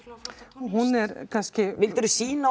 hún er kannski vildirðu sýna